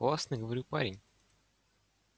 классный говорю парень